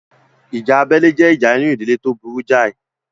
Ìjà abẹ́lé jẹ́ ìjà inú ìdílé tó burú jáì